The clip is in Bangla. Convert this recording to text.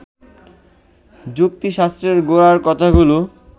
যুক্তিশাস্ত্রের গোড়ার কথাগুলো